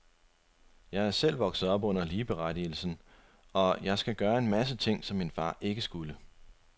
Jeg er selv vokset op under ligeberettigelsen, så jeg skal gøre en masse ting, som min far ikke skulle.